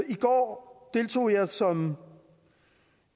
i går deltog jeg som